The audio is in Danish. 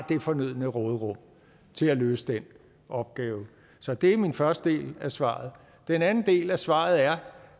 det fornødne råderum til at løse den opgave så det er min første del af svaret den anden del af svaret er